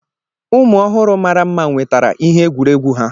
Ụmụ ọhụrụ mara mma nwetara ihe egwuregwu ha.